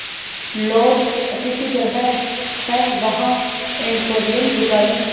laws अतिथिगृह हैं वहाँ एम्पोरियम दुकानें